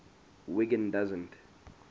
wiggin doesn t